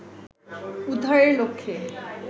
উদ্ধারের লক্ষ্যে